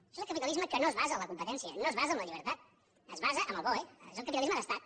això és el capitalisme que no es basa en la competència no es basa en la llibertat es basa en el boe és el capitalisme d’estat